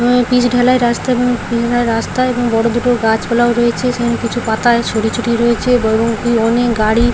pitch ঢালাই রাস্তা এবং পিচ ঢালাই রাস্তা এবং বড় দুটো গাছপালাও রয়েছে সেখানে কিছু পাতা ছড়িয়ে ছিটিয়ে রয়েছেবহুমুখী অনেক গাড়ি --